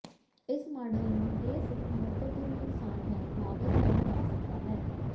ਇਸ ਮਾਡਲ ਨੂੰ ਦੇ ਸਿਰਫ ਮਹੱਤਵਪੂਰਨ ਨੁਕਸਾਨ ਹੈ ਲਾਗਤ ਕਿਹਾ ਜਾ ਸਕਦਾ ਹੈ